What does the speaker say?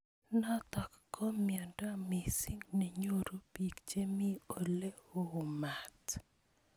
Notok ko mnyendo missing nenyoru bik che mi ole oo mat.